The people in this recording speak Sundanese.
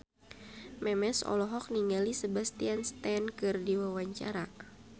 Memes olohok ningali Sebastian Stan keur diwawancara